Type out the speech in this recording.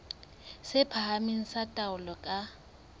tse phahameng tsa taolo ka